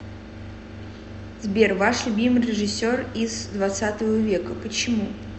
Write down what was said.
сбер ваш любимый режиссер из хх века почему